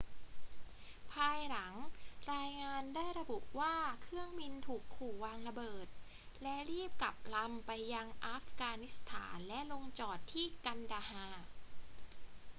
ภายหลัง รายงานได้ระบุว่าเครื่องบินถูกขู่วางระเบิด และรีบกลับลำไปยังอัฟกานิสถานและลงจอดที่กันดาฮาร์